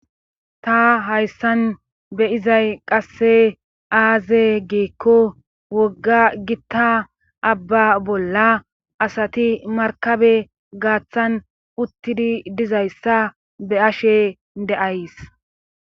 ta hayssan beizay qase aaze giikko wogga gitta abba bolla asati markabe gaaththan uttidi dizayssa be ashe de7ays.